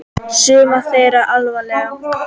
Suma þeirra allavega.